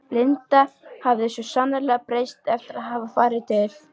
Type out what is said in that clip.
Linda hafði svo sannarlega breyst eftir að hafa farið til